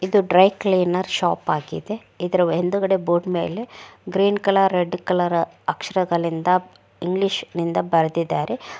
ಇದು dry cleaner ಶೋಪಾಗಿದೆ ಇದ್ರ್ ಹಿಂದ್ಗಡೆ ಬೋರ್ಡ್ ಮೇಲೆ ಗ್ರೀನ್ ಕಲರ್ ರೆಡ್ ಕಲರ್ ಅಕ್ಷರಗಳಿಂದ ಇಂಗ್ಲೀಷನಿಂದ ಬರ್ದಿದ್ದಾರೆ --